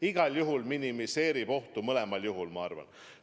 Igal juhul minimeerib mask ohtu mõlemal juhul, ma arvan.